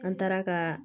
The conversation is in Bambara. An taara ka